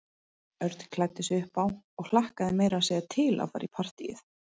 Örn klæddi sig upp á og hlakkaði meira að segja til að fara í partíið.